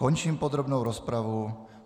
Končím podrobnou rozpravu.